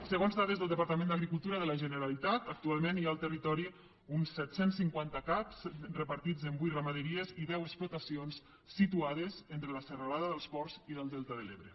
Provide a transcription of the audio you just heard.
segons dades del departament d’agricultura de la generalitat actualment hi ha al territori uns set cents i cinquanta caps repartits en vuit ramaderies i deu explotacions situades entre la serralada dels ports i el delta de l’ebre